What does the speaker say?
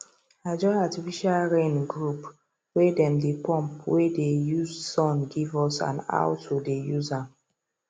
i join artificial rain groupwhere them dey pump wey dey use sun give us and how to dey use am